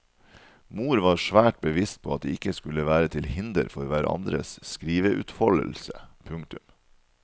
Mor var svært bevisst på at de ikke skulle være til hinder for hverandres skriveutfoldelse. punktum